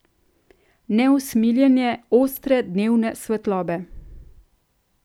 Neusmiljene, ostre dnevne svetlobe.